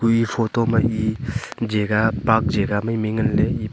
e photo ma e jaga park jaga mai mai nganle.